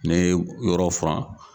N'e ye yɔrɔ furan.